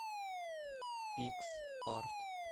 пикс арт